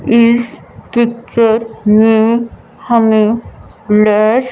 इस पिक्चर में हमें लैश--